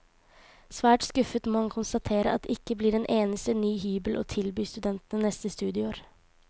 Svært skuffet må han konstatere at det ikke blir en eneste ny hybel å tilby studentene neste studieår.